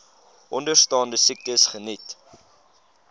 onderstaande siektes geniet